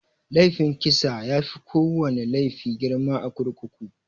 Laifin kisa yafi kowana laifi girma a kurkuku.